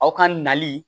Aw ka nali